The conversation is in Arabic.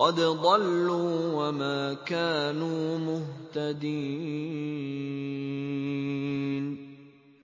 قَدْ ضَلُّوا وَمَا كَانُوا مُهْتَدِينَ